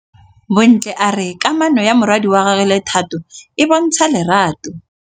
Bontle a re kamanô ya morwadi wa gagwe le Thato e bontsha lerato.